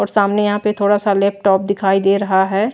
और सामने यहां पे थोड़ा सा लैपटॉप दिखाई दे रहा है।